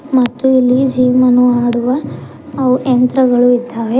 ಮತ್ತು ಇಲ್ಲಿ ಜಿಮ್ ಅನ್ನು ಮಾಡುವ ಯಂತ್ರಗಳು ಇದ್ದಾವೆ.